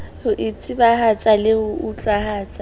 ho itsebahatsa le ho utlwahatsa